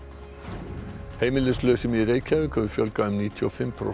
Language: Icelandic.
heimilislausum í Reykjavík hefur fjölgað um níutíu og fimm prósent